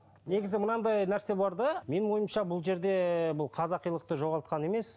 негізі мынандай нәрсе бар да менің ойымша бұл жерде бұл қазақилықты жоғалтқан емес